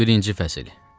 11-ci fəsil.